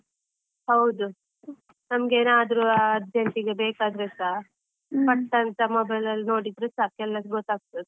ಹೌದು, ನಮಗೆ ಏನಾದ್ರು urgent ಗೆ ಬೇಕಾದ್ರೆಸ, ಪಟ್ ಅಂತ mobile ಅಲ್ಲಿ ನೋಡಿದ್ರೆ ಸಾಕು ಎಲ್ಲದು ಗೊತ್ತಾಗ್ತದೆ.